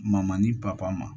Mamani papa ma